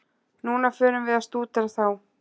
Núna förum við að stúdera þá.